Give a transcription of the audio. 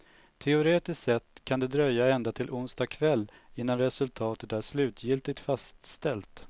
Teoretiskt sett kan det dröja ända till onsdag kväll innan resultatet är slutgiltigt fastställt.